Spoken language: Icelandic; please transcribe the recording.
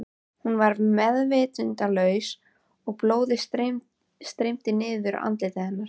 Hún var meðvitundarlaus og blóðið streymdi niður andlitið á henni.